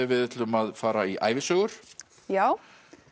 við ætlum að fara í ævisögur já